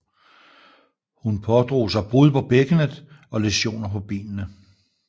Hun pådrog sig brud på bækkenet og læsioner på benene